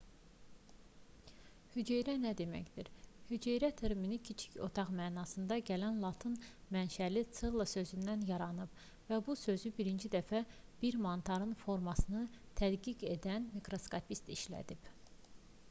hüceyrə nə deməkdir hüceyrə termini kiçik otaq mənasına gələn latın mənşəli cella sözündən yaranıb və bu sözü birinci dəfə bir mantarın formasını tədqiq edən mikroskopist işlədib